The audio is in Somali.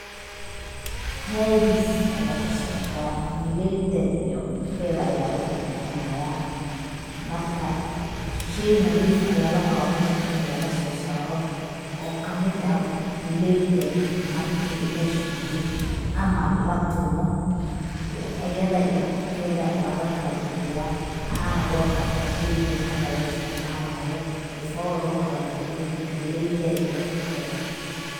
Haadis aya kasocda, galeyda iyo qubkeeda aya lakaja bixinaya, marka shey nadiif aya la rabaa meshan ini lagaso saaro oo kamid ah galeyda marki la Shildo ama la tumo, ayada iyo qubkeeda waa lakala bixiyaa waxana loo qaata sheygan hada la isticmaalo sifo lokala bixiyo galeyda iyo qubkeeda